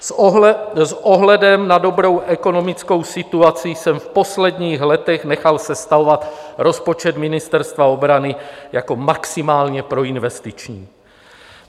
S ohledem na dobrou ekonomickou situaci jsem v posledních letech nechal sestavovat rozpočet Ministerstva obrany jako maximálně proinvestiční.